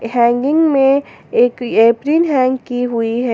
Hanging में एक hang की हुई है।